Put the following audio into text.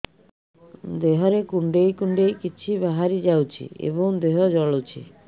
ଦେହରେ କୁଣ୍ଡେଇ କୁଣ୍ଡେଇ କିଛି ବାହାରି ଯାଉଛି ଏବଂ ଦେହ ଜଳୁଛି